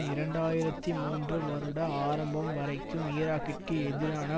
இரண்டு ஆயிரத்தி மூன்று வருட ஆரம்பம் வரைக்கும் ஈராக்கிற்கு எதிரான